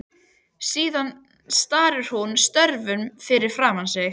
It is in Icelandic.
Síðan starir hún stjörf fram fyrir sig.